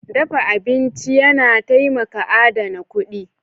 Dafa abinci yana taimaka adana kuɗi.